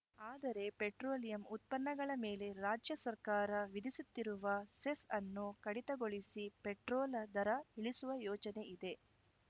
ಆದರೆ ಪೆಟ್ರೋಲಿಯಂ ಉತ್ಪನ್ನಗಳ ಮೇಲೆ ರಾಜ್ಯ ಸರ್ಕಾರ ವಿಧಿಸುತ್ತಿರುವ ಸೆಸ್‌ ಅನ್ನು ಕಡಿತಗೊಳಿಸಿ ಪೆಟ್ರೋಲ ದರ ಇಳಿಸುವ ಯೋಚನೆಯಿದೆ